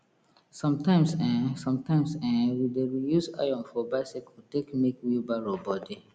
sometimes um sometimes um we dey reuse iron for biccyle take make wheelbarrow body